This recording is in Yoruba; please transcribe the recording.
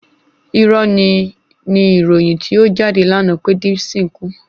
Irọ́ni ni ìròyìn tí ó jáde lánàá pé Dipsyn kú